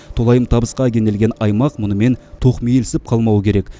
толайым табысқа кенелген аймақ мұнымен тоқмейілсіп қалмауы керек